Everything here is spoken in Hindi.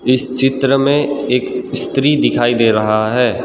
इस चित्र में एक इस्त्री दिखाई दे रहा है।